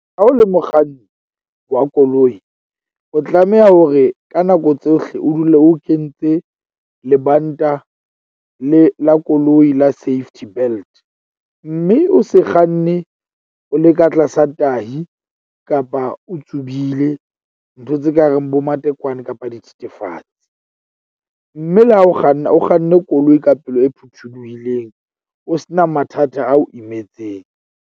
Ha o le mokganni wa koloi, o tlameha hore ka nako tsohle o dule o kentse lebanta le la koloi la safety belt. Mme o se kganne o le ka tlasa tahi, kapa o tsubile ntho tse kareng bomatekwane kapa dithethefatsi. Mme le ha o kganna o kganne koloi ka pelo e phuthuluhileng, o se na mathata ao imetseng.